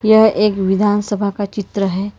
यह एक विधानसभा का चित्र है।